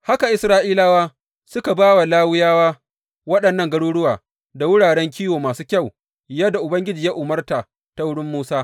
Haka Isra’ilawa suka ba wa Lawiyawa waɗannan garuruwa da wuraren kiwo masu kyau, yadda Ubangiji ya umarta ta wurin Musa.